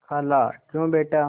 खालाक्यों बेटा